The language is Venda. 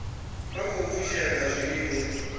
sa khou fushea nga zwiwe